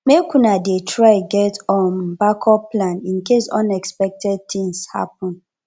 make una dey try get um backup plan incase unexpected tins happen